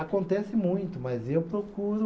Acontece muito, mas eu procuro.